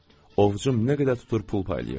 Ovucum nə qədər tutur pul paylayırdım.